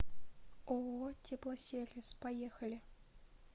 ооо теплосервис поехали